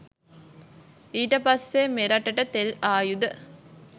ඊට පස්සෙ මෙරටට තෙල් ආයුද